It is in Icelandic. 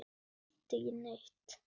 Ég held ekki neitt.